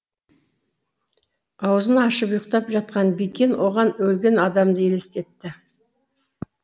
аузын ашып ұйқтап жатқан бикен оған өлген адамды елестетті